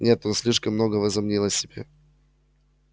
нет он слишком много возомнил о себе